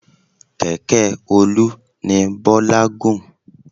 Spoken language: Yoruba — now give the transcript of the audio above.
Kẹ̀kẹ́ Olu ni Bọ́lá gùn.